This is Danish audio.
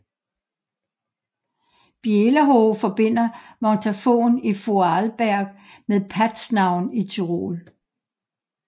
Bielerhoehe forbinder Montafon i Vorarlberg med Paznaun i Tyrol